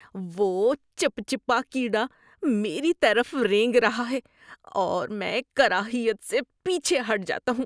وہ چپچپا کیڑا میری طرف رینگ رہا ہے اور میں کراہیت سے پیچھے ہٹ جاتا ہوں۔